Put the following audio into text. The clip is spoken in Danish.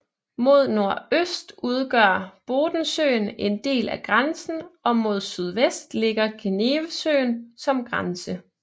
Mod nordøst udgør Bodensøen en del af grænsen og mod sydvest ligger Genevesøen som grænse